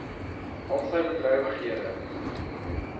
al sy bedrywighede